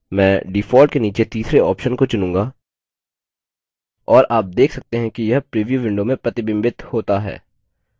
मैं default के नीचे तीसरे option को चुनूँगा और आप देख सकते हैं कि यह प्रीव्यू window में प्रतिबिंबित होता है